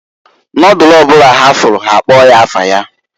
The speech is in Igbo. Nodulu ọ bụla ha fụlụ ha akpọọ afa ya.